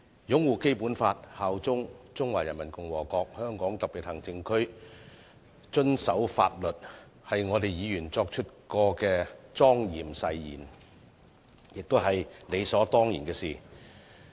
擁護《基本法》、效忠中華人民共和國香港特別行政區、遵守法律，是議員作出的莊嚴誓言，亦是理所當然的事。